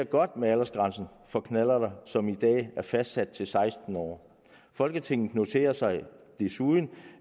godt med aldersgrænsen for knallert som i dag er fastsat til seksten år folketinget noterer sig desuden